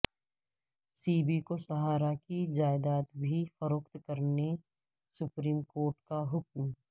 سیبی کو سہارا کی جائیداد بھی فروخت کرنے سپریم کورٹ کا حکم